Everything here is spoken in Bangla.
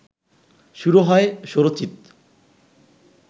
শুরু হয় স্বরচিত